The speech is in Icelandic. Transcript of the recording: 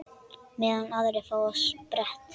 Meðan aðrir fá sér sprett?